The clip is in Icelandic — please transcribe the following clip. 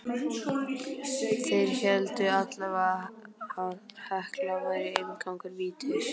Þeir héldu allavega að Hekla væri inngangur vítis.